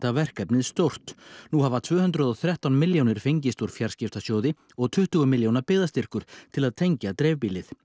verkefnið stórt nú hafa tvö hundruð og þrettán milljónir fengist úr fjarskiptasjóði og tuttugu milljóna byggðastyrkur til að tengja dreifbýlið